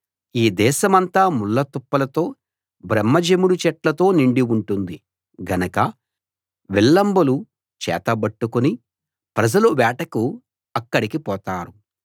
ఈ దేశమంతా ముళ్ళ తుప్పలతో బ్రహ్మ జెముడు చెట్లతో నిండి ఉంటుంది గనక విల్లంబులు చేతబట్టుకుని ప్రజలు వేటకు అక్కడికి పోతారు